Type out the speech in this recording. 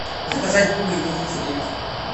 заказать бублик на тридцать девять